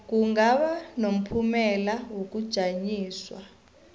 kungaba nomphumela wokujanyiswa